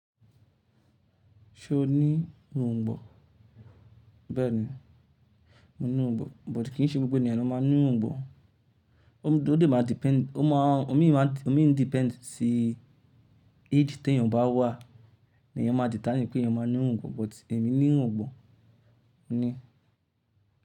Ṣé o ní òǹgbò? Bẹ́ẹ̀ni, mo ní irungbọ̀n, but kì í ṣe gbogbo ènìyàn ló máa ní irungbọ̀n. Ó dè máa depend, ó má a, omi má, omi ń depend sí age tí èeyàn bá wà ni èeyàn ma determine pé èeyàn ma ní irungbọ̀n. But èmi ní irungbọ̀n, mo ní.